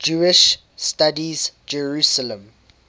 jewish studies jerusalem